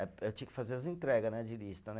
Eh eu tinha que fazer as entrega né, de lista, né?